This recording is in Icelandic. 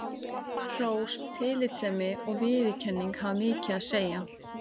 Hrós, tillitssemi og viðurkenning hafa mikið að segja.